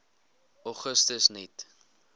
augustus net